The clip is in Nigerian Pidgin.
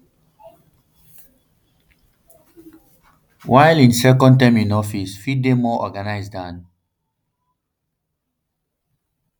while im second term in office fit dey more organised dan